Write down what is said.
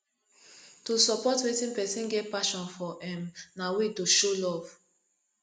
to support wetin persin get passion for um na way to show love